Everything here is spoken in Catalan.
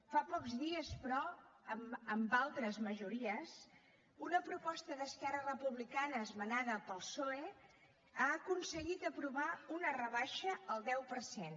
fa pocs dies però amb altres majories una proposta d’esquerra republicana esmenada pel psoe ha aconseguit aprovar una rebaixa al deu per cent